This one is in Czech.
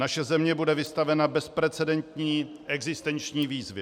Naše země bude vystavena bezprecedentní existenční výzvě.